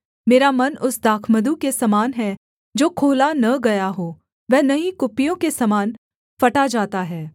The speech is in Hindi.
मेरा मन उस दाखमधु के समान है जो खोला न गया हो वह नई कुप्पियों के समान फटा जाता है